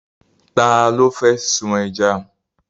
Ta ló fẹ́ sun ẹja?